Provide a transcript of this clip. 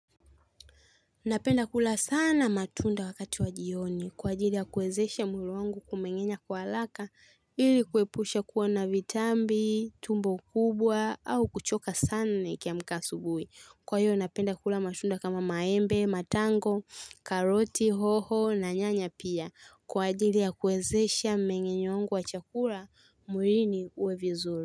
Napenda kula sana matunda wakati wa jioni kwa ajili ya kuwezesha mwili wangu kumengenya kwa haraka ili kuepusha kuwa na vitambi, tumbo kubwa au kuchoka sana nikiamka asubuhi. Kwa hiyo napenda kula matunda kama maembe, matango, karoti, hoho na nyanya pia kwa ajili ya kuwezesha mengenyo wangu wa chakula mwilini uwe vizuri.